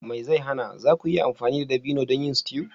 Me zai hana! za ku iya amfani da dabino don yin stew